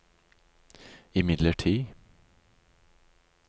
imidlertid